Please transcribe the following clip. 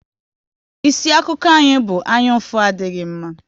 Isi akụkọ anyị bụ "Anyaụfụ adịghị mma"